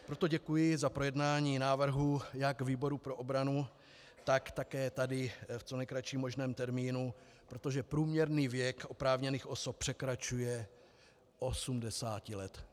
Proto děkuji za projednání návrhu jak výboru pro obranu, tak také tady v co nejkratším možném termínu, protože průměrný věk oprávněných osob překračuje 80 let.